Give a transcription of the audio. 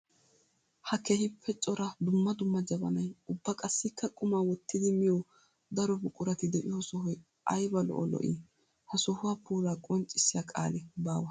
Ha keehippe cora dumma dumma jabanay ubba qassikka qumma wottiddi miyo daro buqurati de'iyo sohoy aybba lo'o lo'i! Ha sohuwa puula qonccissiya qaali baawa.